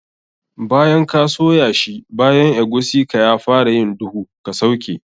Bayan ka soya shi bayan eguisi ka ya fara yin duhu, ka sauke.